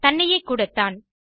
தன்னையே கூடத்தான்